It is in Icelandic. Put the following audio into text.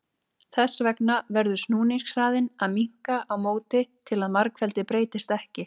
Þess vegna verður snúningshraðinn að minnka á móti til að margfeldið breytist ekki.